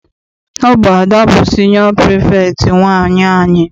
Ọ bụ Ada bụ siniọ pirifektị nwaanyị anyị.